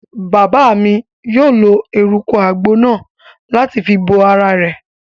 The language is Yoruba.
Bàbá mi yóò lo eruku àgbo náà láti fi bo ara rẹ̀